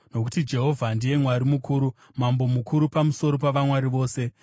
Nokuti Jehovha ndiye Mwari mukuru, Mambo mukuru pamusoro pavamwari vose.